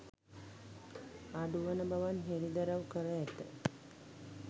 අඩුවන බවත් හෙළිදරව් කර ඇත